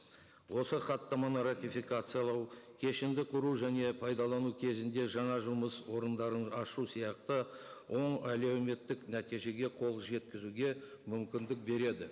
осы хаттаманы ратификациялау кешенді құру және пайдалану кезінде жаңа жұмыс орындарын ашу сияқты оң әлеуметтік нәтижеге қол жеткізуге мүмкіндік береді